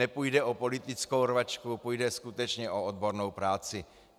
Nepůjde o politickou rvačku, půjde skutečně o odbornou práci.